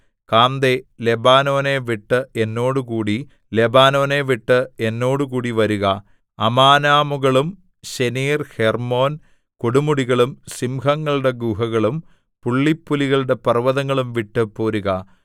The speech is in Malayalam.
കാന്തേ ലെബാനോനെ വിട്ട് എന്നോടുകൂടി ലെബാനോനെ വിട്ട് എന്നോടുകൂടി വരുക അമാനാമുകളും ശെനീർ ഹെർമ്മോൻ കൊടുമുടികളും സിംഹങ്ങളുടെ ഗുഹകളും പുള്ളിപ്പുലികളുടെ പർവ്വതങ്ങളും വിട്ടു പോരുക